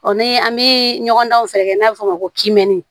Ɔ ni an bi ɲɔgɔn dan fɛnɛ kɛ n'a bɛ fɔ o ma ko kɛni